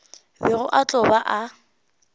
bego a tlo ba a